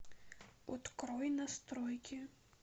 открой настройки